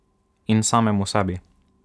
In samemu sebi.